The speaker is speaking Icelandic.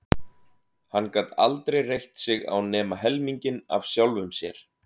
Hann gat aldrei reitt sig á nema helminginn af sjálfum sér.